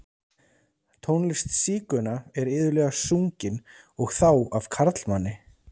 Tónlist sígauna er iðulega sungin, og þá af karlmanni.